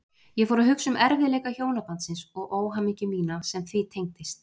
Ég fór að hugsa um erfiðleika hjónabandsins og óhamingju mína sem því tengdist.